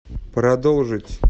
продолжить